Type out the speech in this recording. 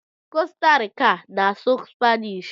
Costa rica na asụ spainish